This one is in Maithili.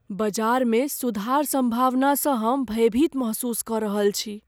बजार मे सुधार सम्भावना स हम भयभीत महसूस क रहल छी